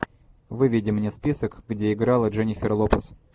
выведи мне список где играла дженнифер лопес